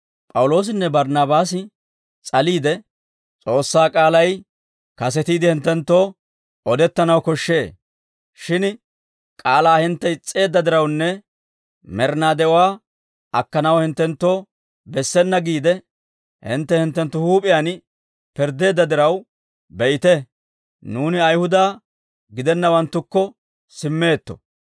P'awuloosinne Barnaabaasi s'aliide, «S'oossaa k'aalay kasetiide hinttenttoo odettanaw koshshee; shin k'aalaa hintte is's'eedda dirawunne med'inaa de'uwaa akkanaw hinttenttoo bessena giide, hintte hinttenttu huup'iyaan pirddeedda diraw, be'ite, nuuni Ayihuda gidennawanttukko simmeetto.